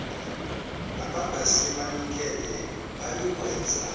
abangase banikele bayokwenza